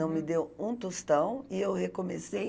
Não me deu um tostão e eu recomecei.